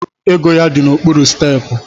Ego ya di n’okpuru stepu